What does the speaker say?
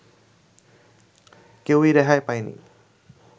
কেউই রেহাই পায়নি